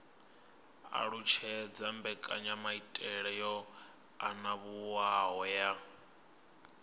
alutshedza mbekanyamaitele yo anavhuwaho ya